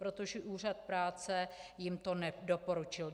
Protože úřad práce jim to nedoporučil.